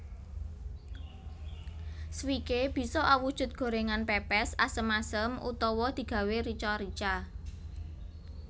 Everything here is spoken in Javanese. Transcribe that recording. Swikee bisa awujud gorèngan pèpès asem asem utawa digawé rica rica